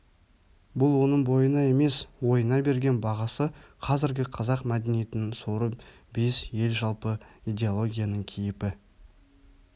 бұл оның бойына емес ойына берген бағасы қазіргі қазақ мәдениетінің соры бес ел жалпы идеологияның киіпі